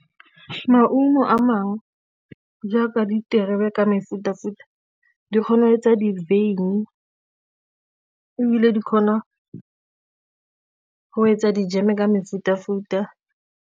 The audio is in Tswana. Maungo a mangwe jaaka diterebe ka mefuta-futa di kgona etsa di-wyn-i, ebile di kgona go etsa dijeme ka mefuta-futa.